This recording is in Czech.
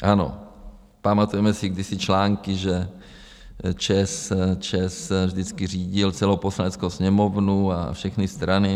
Ano, pamatujeme si kdysi články, že ČEZ vždycky řídil celou Poslaneckou sněmovnu a všechny strany.